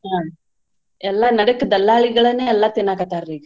ಹಾ ಎಲ್ಲಾ ನಡಕ್ ದಲ್ಲಾಳಿಗಳನ್ನೇ ಎಲ್ಲಾ ತಿನ್ನಾಕತ್ತಾರ್ರಿ.